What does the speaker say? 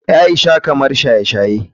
Aisha kamar shaye-shaye.